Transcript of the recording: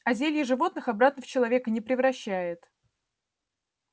а зелье животных обратно в человека не превращает